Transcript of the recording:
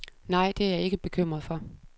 Nej, det er jeg ikke bekymret for.